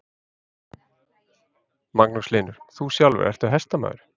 Magnús Hlynur: Þú sjálfur, ertu hestamaður?